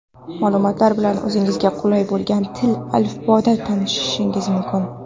Ma’lumotlar bilan o‘zingizga qulay bo‘lgan til (alifboda) tanishishingiz mumkin.